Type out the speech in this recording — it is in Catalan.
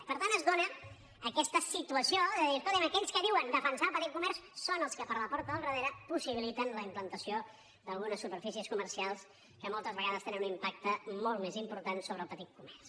i per tant es dóna aquesta situació de dir escolti’m aquells que diuen defensar el petit comerç són els que per la porta del darrere possibiliten la implantació d’algunes superfícies comercials que moltes vegades tenen un impacte molt més important sobre el petit comerç